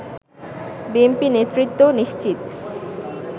BNP নেতৃত্ব নিশ্চিত